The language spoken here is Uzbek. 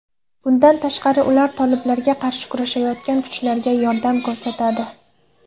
Bundan tashqari, ular toliblarga qarshi kurashayotgan kuchlarga yordam ko‘rsatadi.